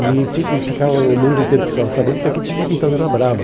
E fi e ficava o mundo inteiro ficava sabendo que aqui tinha uma ditadura brava.